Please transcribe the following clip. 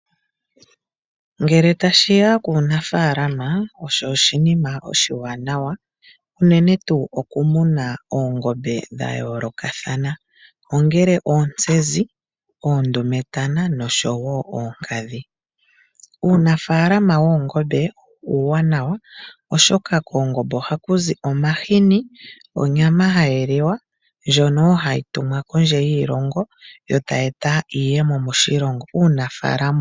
Ngele tashiya kuunafaalama osho oshinima oshiwanawa, unene tuu okumuna oongombe dha yoolokathana ongele oontsezi, oondumetana noshowo oonkadhi. Uunafaalama woongombe uuwanawa oshoka koongombe ohaku zi omahini, onyama hayi liwa ndjono woo hayi tumwa kondje yiilongo, yo tayi eta iiyemo moshilongo.